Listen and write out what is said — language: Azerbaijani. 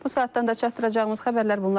Bu saatdan da çatdıracağımız xəbərlər bunlar idi.